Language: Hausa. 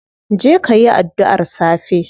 Je kayi adduar safe.